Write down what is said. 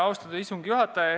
Austatud istungi juhataja!